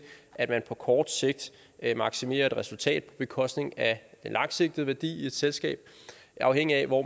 at man på kort sigt maksimerer et resultat på bekostning af en langsigtet værdi i et selskab afhængigt af hvor